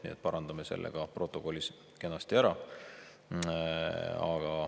Nii et parandame selle ka protokollis ära.